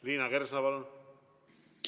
Liina Kersna, palun!